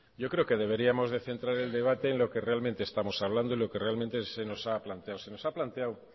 yo creo que deberíamos de centrar el debate en lo que realmente estamos hablando y lo que realmente se nos ha planteado se nos ha planteado